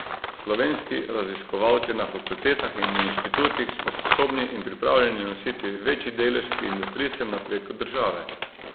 Slovenski raziskovalci na fakultetah in inštitutih smo sposobni in pripravljeni nositi večji delež pri industrijskem napredku države.